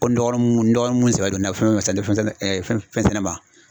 Ko n dɔgɔninw n dɔgɔninw mun sɛbɛ don na fɛnw fɛn sɛnɛ ma.